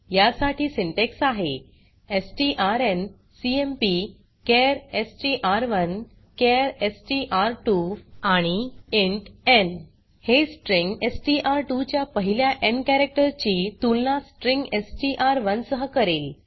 या साठी सिंटॅक्स आहे strncmpचार एसटीआर1 चार एसटीआर2 आणि इंट न् हे स्ट्रिंग एसटीआर2 च्या पहिल्या न् कॅरेक्टर ची तुलना स्ट्रिंग एसटीआर1 सह करेल